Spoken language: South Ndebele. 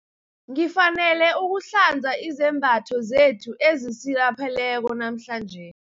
Ngifanele ukuhlanza izembatho zethu ezisilapheleko namhlanje.